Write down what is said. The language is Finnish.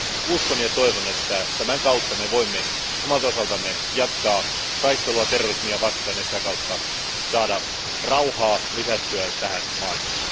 Uskon ja toivon, että tämän kautta me voimme omalta osaltamme jatkaa taistelua terrorismia vastaan ja sitä kautta saada rauhaa lisättyä tähän maailmaan.